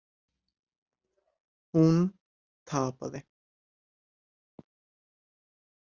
Hún tapaði.